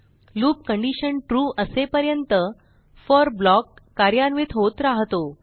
loop condition true असेपर्यंत for block कार्यान्वित होत रहातो